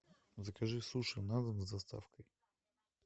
закажи суши на дом с доставкой